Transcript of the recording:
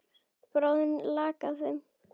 Bráðin lak af þeim.